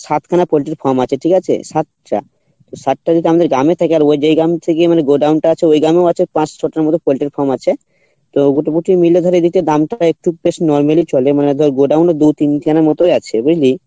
সাত খান পোল্টির farm আছে ঠিক আছে? সাত টা তো সাতটা যদি আমাদের গ্রামে থাকে আর ওই যেই গ্রাম থেকে মানে godown টা আছে মানে ওই গ্রামেও আছে পোল্টির farm আছে এদিকে দামটা একটু বেশ normally চলে মানে ধর দু তিন খানা মতই আছে বুঝলি?